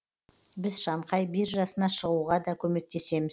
біз шанхай биржасына шығуға да көмектесеміз